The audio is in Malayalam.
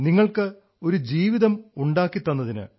നിങ്ങൾക്ക് ഒരു ജീവിതം ഉണ്ടാക്കിത്തന്നതിന്